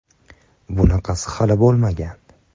Bunaqasi hali bo‘lmagan!.